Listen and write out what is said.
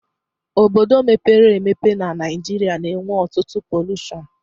Obodo mepere emepe n'Naijiria na enwe ọtụtụ polushon